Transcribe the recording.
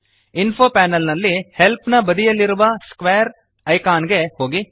info panel ನಲ್ಲಿ help ನ ಬದಿಯಲ್ಲಿರುವ ಸ್ಕ್ವೇರ್ ಐಕಾನ್ ಗೆ ಹೋಗಿ